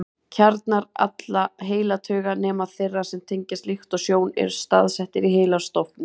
Kjarnar allra heilatauga, nema þeirra sem tengjast lykt og sjón, eru staðsettir í heilastofni.